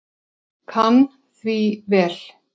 Kann því vel.